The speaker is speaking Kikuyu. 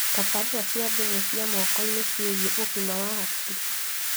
Tabarĩra cia thimũ cia moko-inĩ ciĩgie ũgima wa hakiri